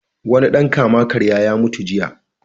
Wani ɗan kama-karya ya mutu jiya.